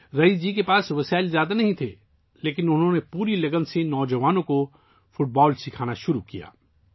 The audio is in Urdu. رئیس جی کے پاس بہت زیادہ وسائل نہیں تھے لیکن انہوں نے پوری لگن سے نوجوانوں کو فٹ بال سکھانا شروع کیا